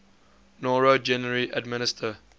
noro generally administer